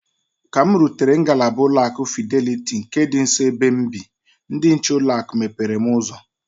Ka m rutere na ngalaba ụlọ akụ Fideliti nke dị nso na-ebe m bị, ndị nche ụlọ akụ mepere m ụzọ.